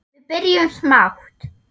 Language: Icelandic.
Við byrjum smátt.